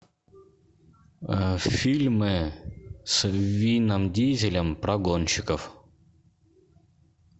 фильмы с вином дизелем про гонщиков